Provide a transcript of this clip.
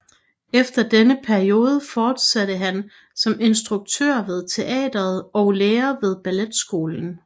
Efter denne periode fortsatte han som instruktør ved teatret og lærer ved balletskolen